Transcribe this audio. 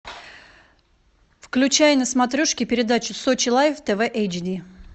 включай на смотрешке передачу сочи лайф тв эйч ди